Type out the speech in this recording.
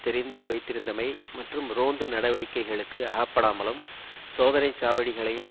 தெரிந்து வைத்திருந்தமை மற்றும் ரோந்து நடவடிக்கைகளுக்கு அகப்படாமலும் சோதனை சாவடிகளையும்